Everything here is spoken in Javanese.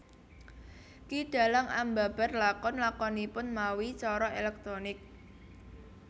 Ki dhalang ambabar lakon lakonipun mawi cara elektronik